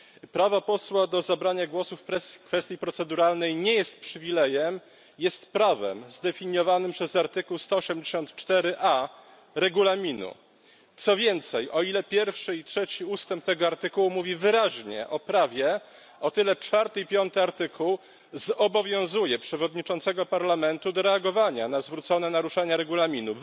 Prawo posła do zabrania głosu w kwestii proceduralnej nie jest przywilejem, jest prawem zdefiniowanym przez artykuł 184a Regulaminu, co więcej, o ile pierwszy i trzeci ustęp tego artykułu mówi wyraźnie o prawie, o tyle czwarty i piąty ustęp zobowiązuje przewodniczącego Parlamentu do reagowania na zgłoszone naruszenia Regulaminu.